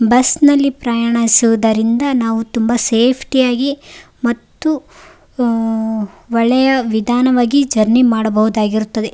Bus ನಲ್ಲಿ ಪ್ರಾಯಾಣಿಸುವುದರಿಂದ ನಾವು ತುಂಬಾ ಸೇಫ್ಟಿ ಯಾಗಿ ಮತ್ತು ಆಆಆ ಒಳ್ಳೆಯ ವಿಧಾನವಾಗಿ ಜರ್ನಿ ಮಾಡಬಹುದಾಗಿರುತ್ತದೆ.